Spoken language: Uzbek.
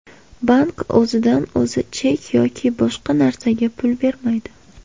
Bank o‘zidan o‘zi chek yoki boshqa narsaga pul bermaydi.